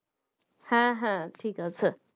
হ্যাঁ হ্যাঁ ঠিক আছে।